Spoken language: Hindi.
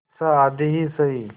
अच्छा आधी ही सही